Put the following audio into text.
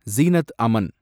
Zeenat Aman